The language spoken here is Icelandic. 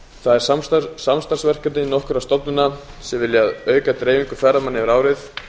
það er samstarfsverkefni nokkurra stofnana sem vilja auka dreifingu ferðamanna yfir árið